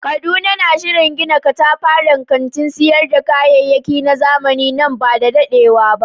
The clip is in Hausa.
Kaduna na shirin gina katafaren kantin sayar da kayayyaki na zamani nan ba da dadewa ba.